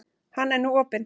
Hann er nú opinn.